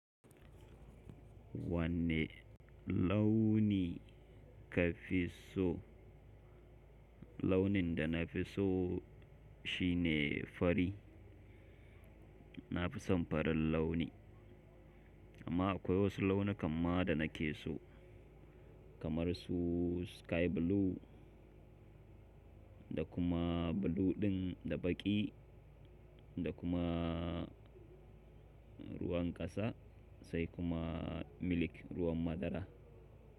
Wanne launi ka fi so? Launin da na fi so shi ne fari. Na fi son farin launi. Amma akwai wasu launi kan ma da na ke so, kamar su sky blue da kuma blue ɗin da baƙi da kuma ruwan ƙasa sai kuma milk ruwan madara.